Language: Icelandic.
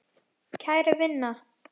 Kæra vina!